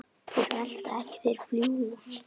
Þeir velta ekki, þeir fljúga.